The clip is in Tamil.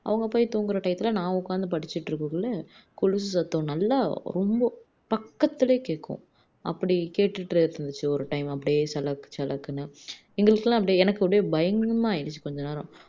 அவங்க போயி தூங்குற time ல நான் உக்காந்து படிச்சுட்டு இருக்கக்குள்ள கொலுசு சத்தம் நல்லா ரொம்ப பக்கத்துலையே கேக்கும் அப்படி கேடுட்டு இருந்துச்சு ஒரு time அப்படியே சலக் சலக்குன்னு எங்களுக்கெல்லாம் அப்படி எனக்கு அப்படியே பயங்கரமா ஆயிடுச்சு கொஞ்ச நேரம்